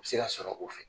U bɛ se ka sɔrɔ o fɛ